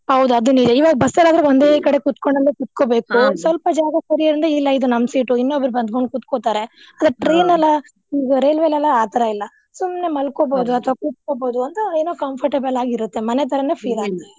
ಹೌದು ಅದು ನಿಜಾ ಇವಾಗ ಬಸ್ಸಲ್ಲಿ ಆದ್ರೆ ಒಂದೇ ಕಡೆ ಕುತ್ಕೊಂಡಲ್ಲೆ ಸ್ವಲ್ಪ ಜಾಗ ಸರಿ ಅಂದ್ರೆ ಇಲ್ಲಾ ಇದು ನಮ್ಮ್ seat ಇನ್ನೊಬ್ರು ಬಂದ್ ಬಂದ್ ಕುತ್ಕೊತಾರೆ ಈಗಾ ರೇಲ್ವೆಲೆಲ್ಲಾ ಆ ತರಾ ಇಲ್ಲಾ ಸುಮ್ನೆ ಅಥವಾ ಕುತ್ಕೊಬಹುದು ಒಂಥರಾ ಏನೊ comfortable ಆಗಿರುತ್ತೆ ಮನೆ ತರಾನೆ .